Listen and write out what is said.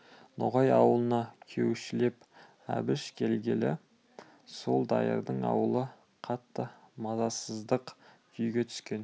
ноғай аулына күйеушілеп әбіш келгелі сол дайырдың аулы қатты мазасыздық күйге түскен